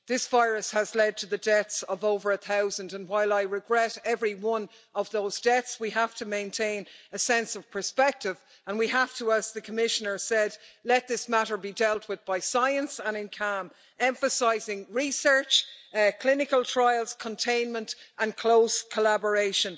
This virus has led to the deaths of over a thousand, and while I regret every one of those deaths, we have to maintain a sense of perspective and we have to, as the Commissioner said, let this matter be dealt with by science and in calm, emphasising research, clinical trials, containment and close collaboration.